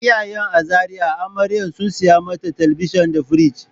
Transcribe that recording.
Iyayen a Zariya amarya sun saya mata talabijin di firij.